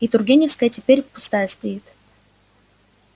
и тургеневская теперь пустая стоит